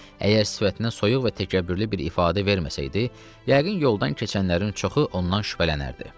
Əgər sifətindən soyuq və təkəbbürlü bir ifadə verməsəydi, yəqin yoldan keçənlərin çoxu ondan şübhələnərdi.